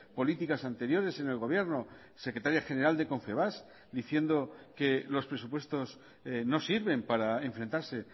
políticas anteriores en el gobierno secretaria general de confebask diciendo que los presupuestos no sirven para enfrentarse